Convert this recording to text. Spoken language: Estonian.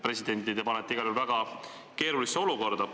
Presidendi te panete igal juhul väga keerulisse olukorda.